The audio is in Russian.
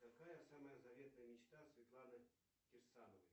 какая самая заветная мечта светланы кирсановой